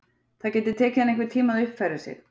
Það gæti tekið hana einhvern tíma að uppfæra sig.